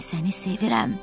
Mən səni sevirəm!